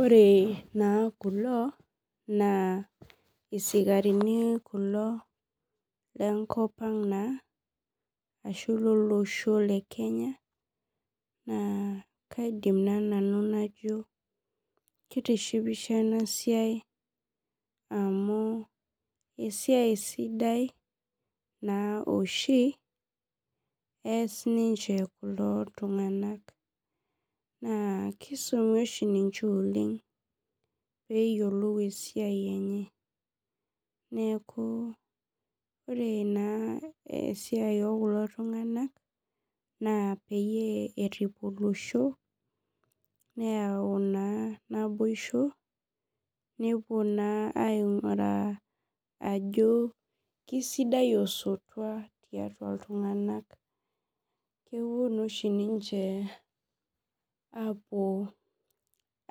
Ore na kulo na isikarini kulo lenkop ang ashu lolosho le kenya na kaidim nanu atejo kitishipisho enasia amu esiai sida oshi eas kulo tunganak na kisumi oshi ninche oleng peyiolou esiai enye neaku ore na kuli tunganak na peyie erip olosho neyau na naboisho nelo nmainguraa ajo kesidai osotua tiatua ltunganak kepuo na ninche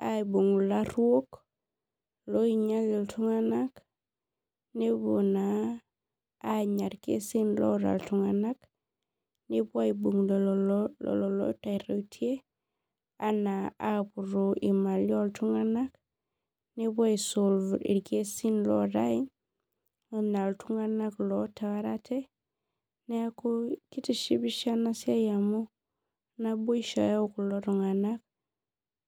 aibung ilaruokloinyal ltunganak nepuo na anya irkesin oota ltunganak nepuo na aibung ilaruoki ana apuo apuroo imalim oltunganak nepuo ai solve ikesin lootae ana ltunganak otaarate neaku kitishipisho enasiai amu naboisho eyau kulo tunganak.